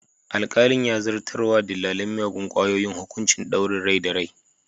Alkalin ya zartar wa dillalin miyagun kwayoyin hukuncin ɗaure rai da rai.